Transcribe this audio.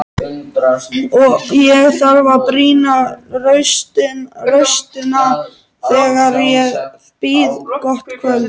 Ég þarf að brýna raustina þegar ég býð gott kvöld.